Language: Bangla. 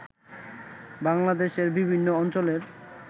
বাংলাদেশের বিভিন্ন অঞ্চলের